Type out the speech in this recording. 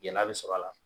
Gɛlɛya bɛ sɔrɔ a la